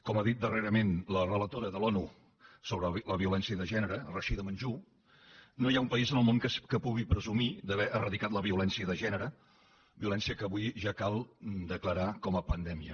com ha dit darrerament la relatora de l’onu sobre la violència de gènere rashida manjoo no hi ha un país en el món que pugui presumir d’haver eradicat la violència de gènere violència que avui ja cal declarar com a pandèmia